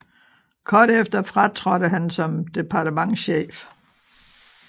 Kort efter fratrådte han som departementschef